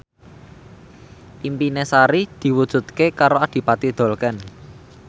impine Sari diwujudke karo Adipati Dolken